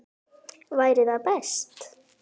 Væri það best?